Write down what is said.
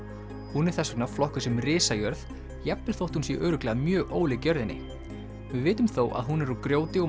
hún er þess vegna flokkuð sem risajörð jafnvel þótt hún sé örugglega mjög ólík jörðinni við vitum þó að hún er úr grjóti og